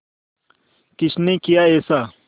किसने किया ऐसा